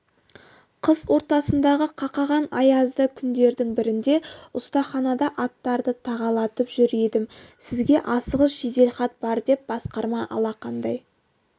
қыс ортасындағы қақаған аязды күндердің бірінде ұстаханада аттарды тағалатып жүр едім сізге асығыс жеделхат бар деп басқарма алақандай